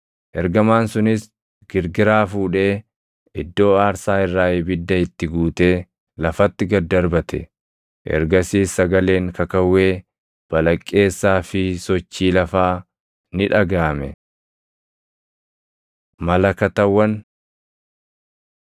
Ergamaan sunis girgiraa fuudhee iddoo aarsaa irraa ibidda itti guutee lafatti gad darbate; ergasiis sagaleen kakawwee, balaqqeessaa fi sochii lafaa ni dhagaʼame. Malakatawwan